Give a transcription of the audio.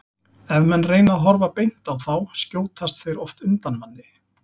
Ef menn reyna að horfa beint á þá skjótast þeir oft undan manni.